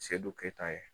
Sedu keyita ye